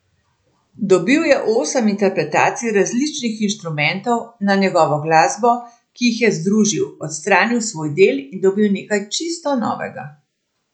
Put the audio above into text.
Dobil je osem interpretacij različnih inštrumentov na njegovo glasbo, ki jih je združil, odstranil svoj del in dobil nekaj čisto novega.